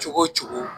Cogo cogo